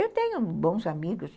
Eu tenho bons amigos.